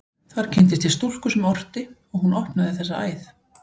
Þar kynntist ég stúlku sem orti, og hún opnaði þessa æð.